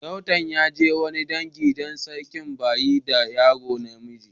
Sarautan ya je wani dangi dan sarkin ba yi da yaro na miji.